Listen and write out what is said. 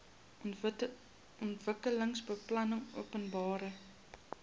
ontwikkelingsbeplanningopenbare